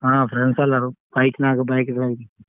ಹಾ friends ಎಲ್ಲರೂ bike ನಾಗ್ bike ದಾಗ್.